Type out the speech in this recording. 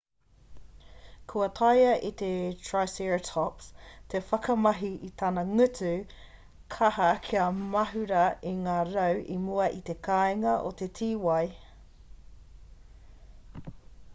kua taea e te triceratops te whakamahi i tana ngutu kaha kia mahura i ngā rau i mua i te kāinga o te tīwai